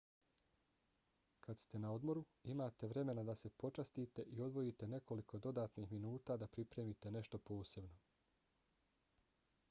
kad ste na odmoru imate vremena da se počastite i odvojite nekoliko dodatnih minuta da pripremite nešto posebno